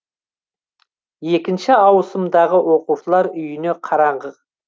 екінші ауысымдағы оқушылар үйіне қараңғы